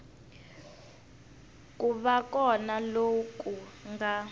ku va kona loku nga